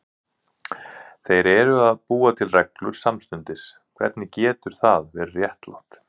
Þeir eru að búa til reglur samstundis, hvernig getur það verið réttlátt?